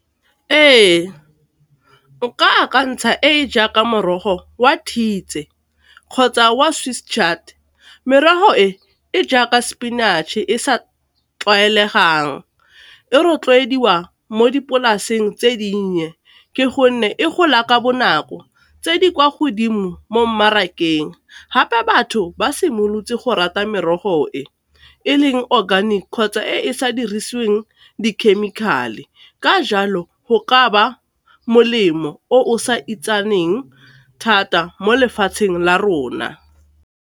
Ee, nka akantsha e e jaaka morogo wa thiitse kgotsa wa Swiss Chard, merogo e e jaaka spinach e sa tlwaelegang e rotloediwa mo dipolaseng tse dinnye ke gonne e gola ka bonako, tse di kwa godimo mo mmarakeng, gape batho ba simolotse go rata merogo e e leng organic kgotsa e e sa dirisiweng dikhemikhale, ka jalo go ka ba molemo o sa itsagaleng thata mo lefatsheng la rona.